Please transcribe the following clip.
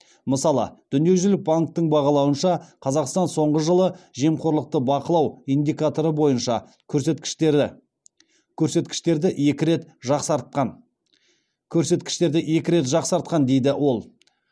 мысалы дүниежүзілік банктің бағалауынша қазақстан соңғы жылы жемқорлықты бақылау индикаторы бойынша көрсеткіштерді екі рет жақсартқан дейді ол